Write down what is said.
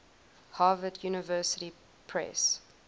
harvard university press